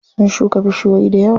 Sun shuka bishiyoyi dayawa.